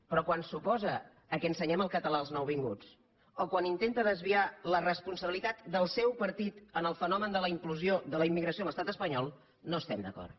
però quan s’o·posa que ensenyem el català als nouvinguts o quan intenta desviar la responsabilitat del seu partit en el fenomen de la incursió de la immigració a l’estat es·panyol no hi estem d’acord